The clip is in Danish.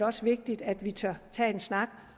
også vigtigt at vi tør tage en snak